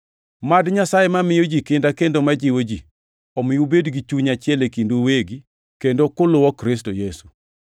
Mad Nyasaye mamiyo ji kinda kendo ma jiwo ji, omi ubed gi chuny achiel e kindu uwegi, kendo kuluwo Kristo Yesu,